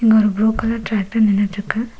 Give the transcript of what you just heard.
இங்க ஒரு blue colour tractor நின்னுட்ருக்கு.